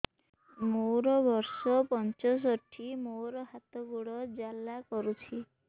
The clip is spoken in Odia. ମୋର ବର୍ଷ ପଞ୍ଚଷଠି ମୋର ହାତ ଗୋଡ଼ ଜାଲା କରୁଛି